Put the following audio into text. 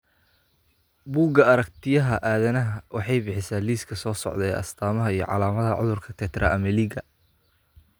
Buugga Aragtiyaha Aadanahawaxay bixisaa liiska soo socda ee astamaha iyo calaamadaha cudurka Tetra ameliga .